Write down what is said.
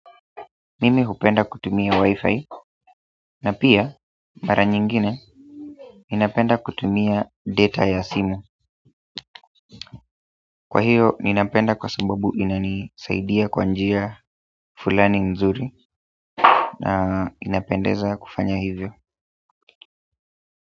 Mimi hupenda kutumia wifi na pia mara nyingine ninapenda kutumia data ya simu. Kwa hiyo, ninapenda kwa sababu inanisaidia kwa njia fulani mnzuri na inapendeza kufanya hivyo.